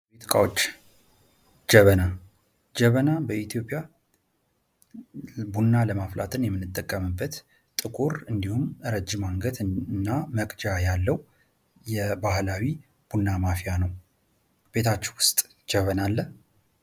ዕቃዎች ጀበና። ጀበና በኢትዮጵያ ቡና ለማፍላት የምንጠቀምበት ጥቁር እንዲሁም ረጅም አንገትና መቅጃ ያለው የባህላዊ ቡና ማፍያ ነው። ቤታችሁ ውስጥ ጀበና አለ?